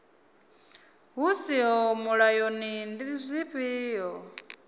hu siho mulayoni ndi dzifhio